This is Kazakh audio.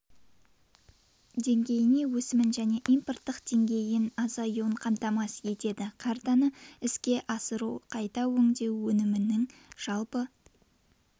деңгейіне өсімін және импорттың дейін азаюын қамтамасыз етеді картаны іске асыру қайта өңдеу өнімінің жалпы